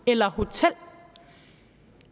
eller hotel